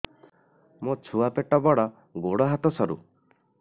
ମୋ ଛୁଆ ପେଟ ବଡ଼ ଗୋଡ଼ ହାତ ସରୁ